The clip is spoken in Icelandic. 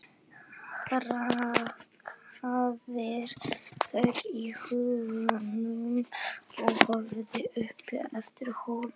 Hrakyrðir þau í huganum og horfir upp eftir hólnum.